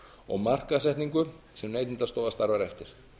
og markaðssetningu sem neytendastofa starfar eftir